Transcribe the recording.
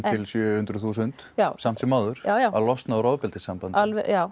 hundruð þúsund samt sem áður að losna úr ofbeldissambandi